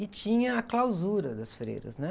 E tinha a clausura das freiras, né?